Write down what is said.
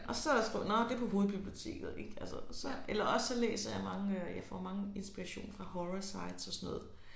Og sp skriver jeg nåh det på hovedbiblioteket ik altså så eller også læser jeg mange jeg får mange inspiration fra horrorsites og sådan noget